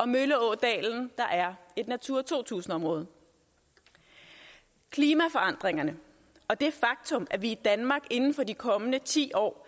og mølleådalen der er et natura to tusind område klimaforandringerne og det faktum at vi i danmark inden for de kommende ti år